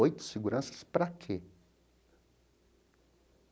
Oito seguranças para quê?